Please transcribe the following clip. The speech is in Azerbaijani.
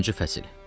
Dördüncü fəsil.